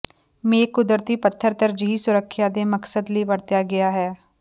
ਮੇਖ ਕੁਦਰਤੀ ਪੱਥਰ ਤਰਜੀਹੀ ਸੁਰੱਖਿਆ ਦੇ ਮਕਸਦ ਲਈ ਵਰਤਿਆ ਗਿਆ ਹੈ